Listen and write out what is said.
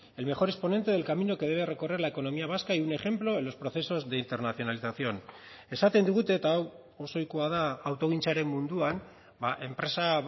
el mejor exponente del camino que debe recorrer la economía vasca y un ejemplo en los procesos de internacionalización esaten digute eta hau oso ohikoa da autogintzaren munduan enpresa